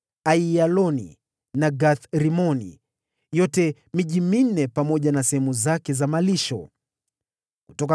Aiyaloni na Gath-Rimoni pamoja na sehemu zake za malisho, ilikuwa miji minne